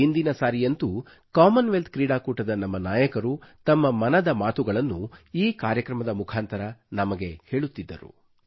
ಹಿಂದಿನ ಸಾರಿಯಂತೂ Commonwealth ಕ್ರೀಡಾಕೂಟದ ನಮ್ಮ ನಾಯಕರು ತಮ್ಮ ಮನದ ಮಾತುಗಳನ್ನು ಈ ಕಾರ್ಯಕ್ರಮದ ಮುಖಾಂತರ ನಮಗೆ ಹೇಳುತ್ತಿದ್ದರು